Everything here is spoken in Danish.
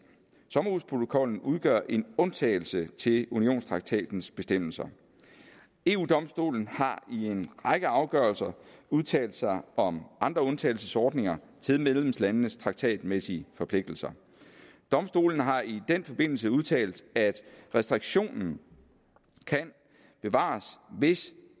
sommerhusprotokollen udgør en undtagelse til unionstraktatens bestemmelser eu domstolen har i en række afgørelser udtalt sig om andre undtagelsesordninger til medlemslandenes traktatmæssige forpligtelser domstolen har i den forbindelse udtalt at restriktionen kan bevares hvis